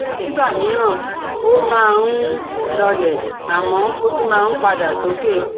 Nígbà míràn, oh máa nh lọọlẹ̀, àmọ, ó tún máa ń padà sókè